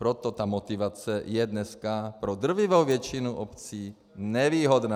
Proto ta motivace je dneska pro drtivou většinu obcí nevýhodná.